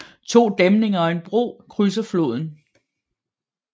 To dæmninger og en bro krydser floden